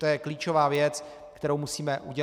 To je klíčová věc, kterou musíme udělat.